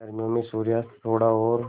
गर्मियों में सूर्यास्त थोड़ा और